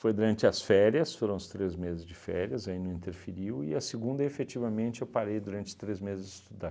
Foi durante as férias, foram os três meses de férias, aí não interferiu, e a segunda efetivamente eu parei durante três meses de estudar.